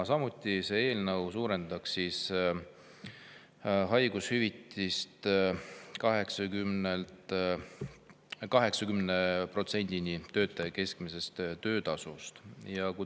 Samuti suurendataks haigushüvitist 80%‑ni töötaja keskmisest töötasust.